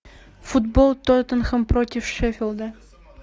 футбол тоттенхэм против шеффилда